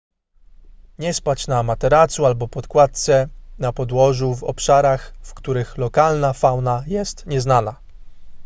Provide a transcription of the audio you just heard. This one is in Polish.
nie spać na materacu albo podkładce na podłożu w obszarach w których lokalna fauna jest nieznana